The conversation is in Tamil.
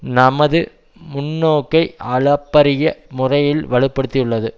நமது முன்னோக்கை அளப்பரிய முறையில் வலுப்படுத்தியுள்ளது